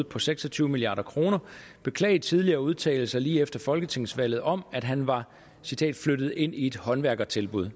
på seks og tyve milliard kr beklage tidligere udtalelser lige efter folketingsvalget om at han var flyttet ind i et håndværkertilbud